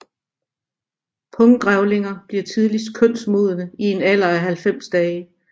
Punggrævlinger bliver tidligst kønsmodne i en alder af 90 dage